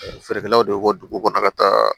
Feerekɛlaw de bɛ bɔ dugu kɔnɔ ka taa